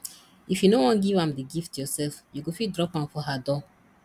if you no wan give am the gift yourself you go fit drop am for her door